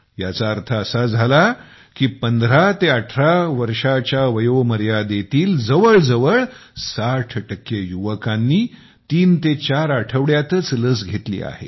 याचा अर्थ असा झाला की पंधरा ते अठरा वर्षांच्या वयोमर्यादेतील जवळजवळ साठ टक्के युवकांनी तीन ते चार आठवड्यांतच लस घेतलेली आहे